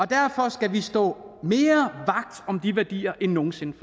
derfor skal vi stå mere vagt om de værdier end nogen sinde